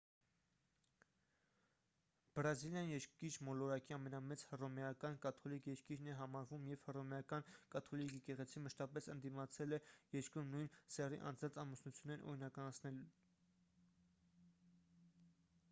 բրազիլիան երկիր մոլորակի ամենամեծ հռոմեական կաթոլիկ երկիրն է համարվում և հռոմեական կաթոլիկ եկեղեցին մշտապես ընդդիմացել է երկրում նույն սեռի անձանց ամուսնություններն օրինականացնելուն